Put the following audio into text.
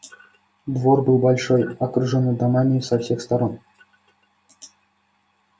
двор был большой окружённый домами со всех сторон